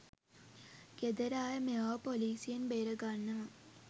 ගෙදර අය මෙයාව පොලිසියෙන් බේරගන්නවා.